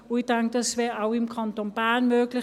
Ich denke, das wäre auch im Kanton Bern möglich.